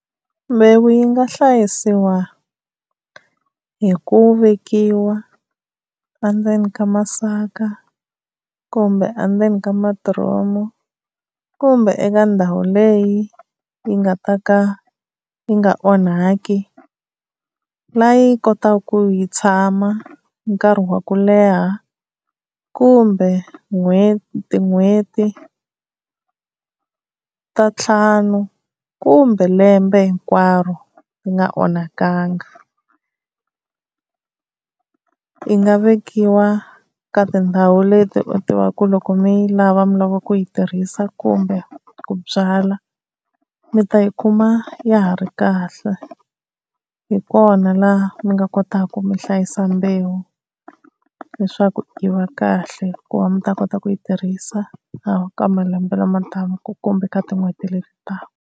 Mbewu yi nga hlayisiwa hi ku vekiwa endzeni ka masaka kumbe endzeni ka madiromu kumbe eka ndhawu leyi yi nga ta ka yi nga onhaki la yi kotaka ku yi tshama nkarhi wa ku leha kumbe n'hweti tin'hweti ta ntlhanu kumbe lembe hinkwaro yi nga onhakangi. Yi nga vekiwa ka tindhawu leti u tivaka ku loko mi yi lava mi lava ku yi tirhisa kumbe ku byala mi ta yi kuma ya ha ri kahle hi kona laha mi nga kotaka mi hlayisa mbewu leswaku yi va kahle ku va mi ta kota ku yi tirhisa eka malembe lama taka kumbe ka tin'hweti leti taka.